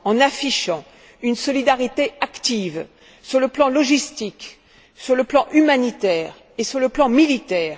affichant une solidarité active sur le plan logistique, sur le plan humanitaire et sur le plan militaire.